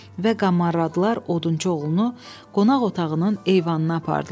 Və qamarladılar odunçu oğlunu qonaq otağının eyvanına apardılar.